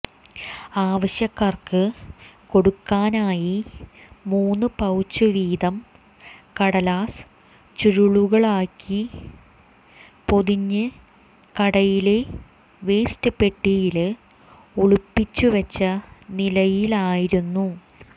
ആവശ്യക്കാര്ക്ക് കൊടുക്കാനായി മൂന്നു പൌച്ച് വീതം കടലാസ് ചുരുളുകളിലാക്കി പൊതിഞ്ഞ് കടയിലെ വേസ്റ്റ് പെട്ടിയില് ഒളിപ്പിച്ചു വച്ച നിലയിലായിരുന്നു